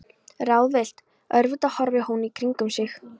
Ráðvillt, örvita horfir hún í kringum sig.